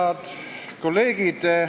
Head kolleegid!